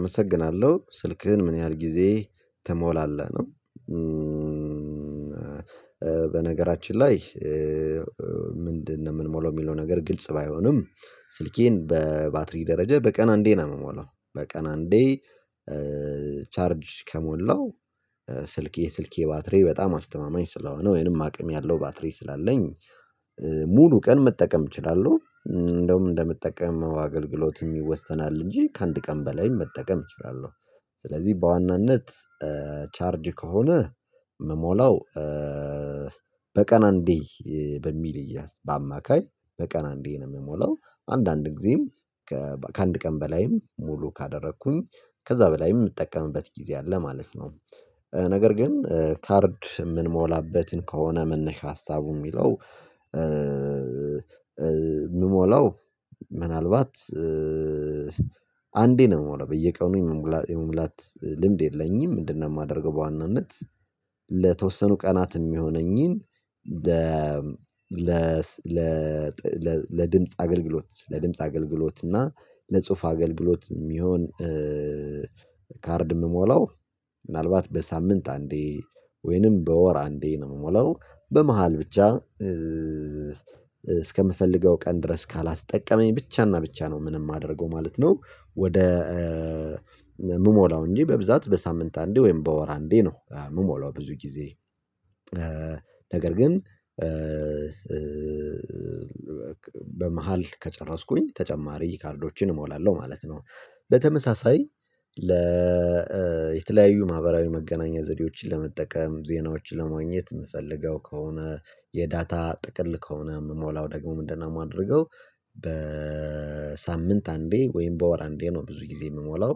አመሰግናለሁ ስልክህን ምን ያህል ጊዜ ትሞላለህ ነው? በነገራችን ላይ ምንድነው የምንሞለው የሚለው ነገር ግልጽ ባይሆንም ስልኬን በባትሪ ደረጃ በቀን አንዴ ነው የምሞላው በቀን አንዴ። ቻርጅ ከሞላው ስልኬ ስልኬ ባትሬ በጣም አስተማማኝ ስለሆነ ወይንም አቅም ያለው ባትሬ ስላለኝ ሙሉ ቀን መጠቀም እችላለሁ እንደውም እንደምጠቀመው አገልግሎት የሚወስናል እንጂ ከአንድ ቀን በላይ መጠቀም እችላለሁ። ስለዚህ በዋናነት ቻርጅ ከሆነ መሞላው በቀን አንዴ በሚል ይያዝ በአማካይ በቀን አንዴ ነው የምሞላው። አንዳንድ ጊዜም ከአንድ ቀን በላይም ሙሉ ካደረኩኝ ከዛ በላይም የምጠቀምበት ጊዜ አለ ማለት ነው። ነገር ግን ካርድ የምንሞላበትን ከሆነ መነሻ ሀሳቡ የሚለው የምሞላው ምናልባት አንዴ ነው የምለው በየቀኑ የመሙላት ልምድ የለኝም። ምንድነው የማደርገው በዋናነት ለተወሰኑ ቀናት የሚሆነኝን። ለድምጽ አገልግሎት ለድምጽ አገልግሎት እና ለጽሁፍ አገልግሎት የሚሆን ካርድ ምሞላው ምናልባት በሳምንት አንዴ ወይንም በወር አንዴ ነው የምሞላው በመሃል ብቻ። እስከምፈልገው ቀን ድረስ ካላስጠቀመኝ ብቻና ብቻ ነው ምንም የማደርገው ማለት ነው። ወደ የምሞላው እንጂ በብዛት በሳምንት አንዴ ወይም በወር አንዴ ነው የምሞላው። ብዙ ጊዜ ነገር ግን በመሃል ከጨረስኩኝ ተጨማሪ ካርዶችን እሞላለሁ ማለት ነው። በተመሳሳይ ለ ማህበራዊ መገናኛ ዘዴዎችን ለመጠቀም ዜናዎችን ለማግኘት የምፈልገው ከሆነ የዳታ ጥቅል ከሆነ የምሞላው ደግሞ ምንድነው የማደርገው? በሳምንት አንዴ ወይም በወር አንዴ ነው ብዙ ጊዜ የምሞላው።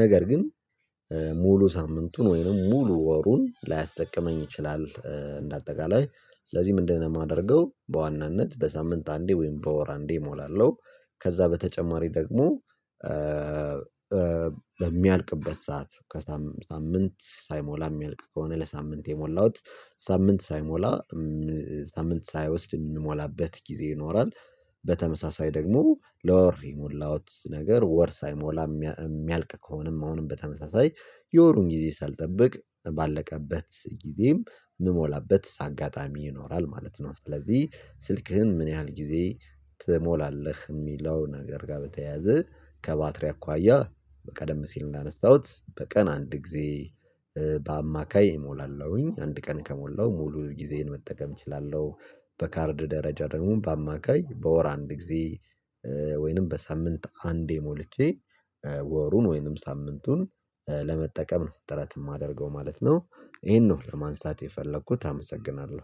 ነገር ግን ሙሉ ሳምንቱን ወይም ሙሉ ወሩን ላያስጠቅመኝ ይችላል እንደ አጠቃላይ ለዚህ ምንድነው የማደርገው በዋናነት በሳምንት አንዴ ወይም በወር አንዴ እሞላለሁ። ከዛ በተጨማሪ ደግሞ በሚያልቅበት ሰዓት ከሳምንት ሳይሞላ የሚያልቅ ከሆነ ለሳምንት የሞላሁት ሳምንት ሳይሞላ ሳምንት ሳይወስድ የምንሞላበት ጊዜ ይኖራል። በተመሳሳይ ደግሞ ላወር የሞላዎት ነገር ወር ሳይሞላ የሚያልቅ ከሆነም አሁንም በተመሳሳይ የወሩን ጊዜ ሳልጠብቅ ባለቀበት ጊዜም የምሞላበት አጋጣሚ ይኖራል ማለት ነው። ስለዚህ ስልክህን ምን ያህል ጊዜ ትሞላለህ? የሚለው ነገር ጋር በተያያዘ ከባትሪ አኳያ በቀደም ሲል እንዳነሳሁት በቀን አንድ ጊዜ በአማካይ እሞላለሁኝ አንድ ቀን ከሞላው ሙሉ ጊዜን መጠቀም እችላለሁ። በካርድ ደረጃ ደግሞ በአማካይ በወር አንድ ጊዜ ወይንም በሳምንት አንድ የሞልቼ ወሩን ወይንም ሳምንቱን ለመጠቀም ነው ጥረት የማደርገው ማለት ነው። ይሄን ነው ለማንሳት የፈለኩት አመሰግናለሁ